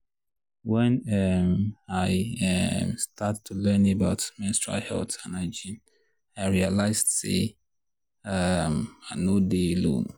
when um i um start to learn about about menstrual health and hygiene i realized say um i nor dey alone.